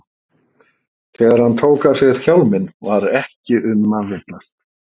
Þegar hann tók af sér hjálminn var ekki um að villast.